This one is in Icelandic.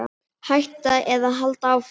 Hætta eða halda áfram?